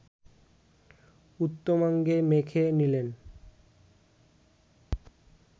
উত্তমাঙ্গে মেখে নিলেন